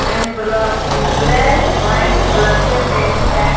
Envelope black white colour से paint है।